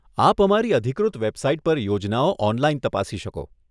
આપ અમારી અધિકૃત વેબસાઈટ પર યોજનાઓ ઓનલાઈન તપાસી શકો.